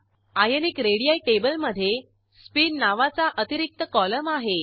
ionic ready टेबलमधे spin नावाचा अतिरिक्त कॉलम आहे